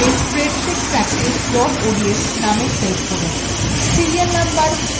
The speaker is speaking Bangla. সেটিকে spreadsheet practice ods name save করুন